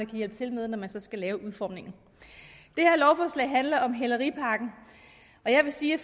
kan hjælpe til med når man skal lave udformningen det her lovforslag handler om hæleripakken og jeg vil sige at